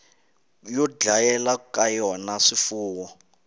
yo dlayela ka yona swifuwo